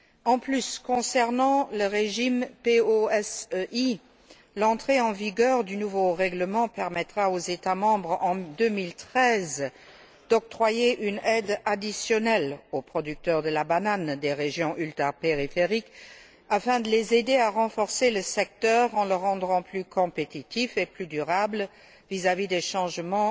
De plus, concernant le régime POSEI, l'entrée en vigueur du nouveau règlement permettra aux États membres d'octroyer en 2013 une aide additionnelle aux producteurs de bananes des régions ultrapériphériques, afin de les aider à renforcer le secteur, en le rendant plus compétitif et plus durable, face aux changements